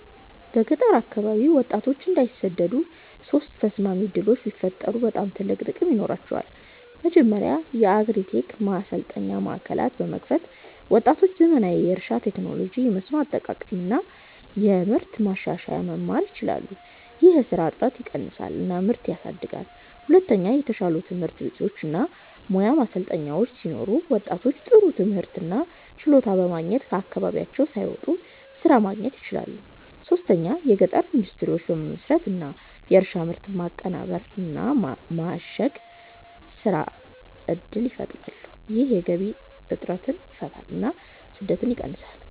በገጠር አካባቢ ወጣቶች እንዳይሰደዱ ሶስት ተስማሚ ዕድሎች ቢፈጠሩ በጣም ትልቅ ጥቅም ይኖራቸዋል። መጀመሪያ የአግሪ-ቴክ ማሰልጠኛ ማዕከላት በመክፈት ወጣቶች ዘመናዊ የእርሻ ቴክኖሎጂ፣ የመስኖ አጠቃቀም እና የምርት ማሻሻያ መማር ይችላሉ። ይህ የስራ እጥረትን ይቀንሳል እና ምርትን ያሳድጋል። ሁለተኛ የተሻሉ ትምህርት ቤቶች እና ሙያ ማሰልጠኛዎች ሲኖሩ ወጣቶች ጥሩ ትምህርት እና ችሎታ በማግኘት ከአካባቢያቸው ሳይወጡ ስራ ማግኘት ይችላሉ። ሶስተኛ የገጠር ኢንዱስትሪዎች በመመስረት እንደ የእርሻ ምርት ማቀናበር እና ማሸግ ስራ እድል ይፈጠራል። ይህ የገቢ እጥረትን ይፈታል እና ስደትን ይቀንሳል።